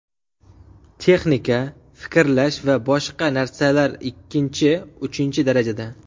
Texnika, fikrlash va boshqa narsalar ikkinchi, uchinchi darajada.